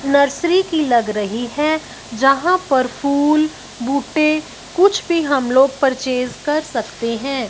Nursery की लग रही है जहाँ पर फूल बुटे कुछ भी हमलोग परचेस कर सकते है।